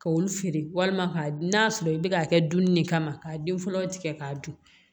K'olu feere walima ka n'a sɔrɔ i bɛ k'a kɛ dunni de kama k'a den fɔlɔ tigɛ k'a dun